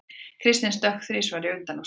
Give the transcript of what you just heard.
Kristinn stökk þrisvar í undanúrslitunum